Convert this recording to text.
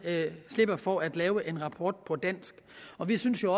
slipper for at lave en rapport på dansk og vi synes jo